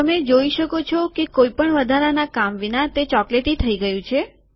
તમે જોઈ શકો છો કે કોઈપણ વધારાના કામ વિના તે ચોકલેટી થઇ ગયું છે